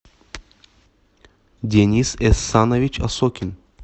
денис эссанович осокин